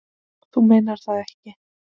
Þú meinar það ekki.